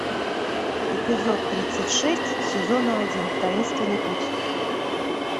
эпизод тридцать шесть сезона один таинственный путь